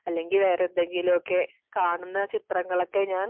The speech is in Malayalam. അല്ലെങ്കിൽ വേറെ എന്തെങ്കിലും ഒക്കെ കാണുന്ന ചിത്രങ്ങൾ ഒക്കെ ഞാൻ